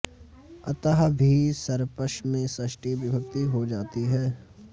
अतः भी सर्पष् में षष्ठी विभक्ति हो जाती है